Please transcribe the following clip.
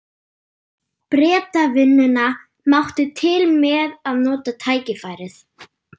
Bretavinnuna, mátti til með að nota tækifærið.